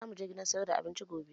Za mu je gidan sayar da abincin gobe